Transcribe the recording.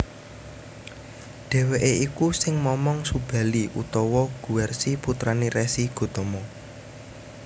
Dheweke iku sing momong Subali utawa Guwarsi putrané Resi Gotama